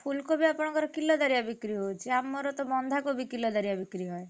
ଫୁଲକୋବି ଆପଣଙ୍କର କିଲଦାରିଆ ବିକ୍ରି ହଉଛି? ଆମର ତ ବନ୍ଧାକୋବି କିଲଦାରିଆ ବିକ୍ରି ହୁଏ।